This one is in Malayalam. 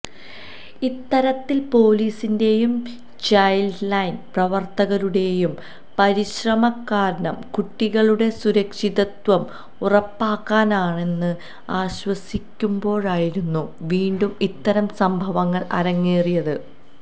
ഇത്തരത്തില് പൊലീസിന്റെയും ചൈല്ഡ് ലൈന് പ്രവര്ത്തകരുടെയും പരിശ്രമം കാരണം കുട്ടികളുടെ സുരക്ഷിതത്വം ഉറപ്പാക്കാനായെന്ന് ആശ്വസിക്കുമ്പോഴായിരുന്നു വീണ്ടും ഇത്തരം സംഭവങ്ങള് അരങ്ങേറിയത്